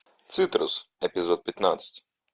цитрус эпизод пятнадцать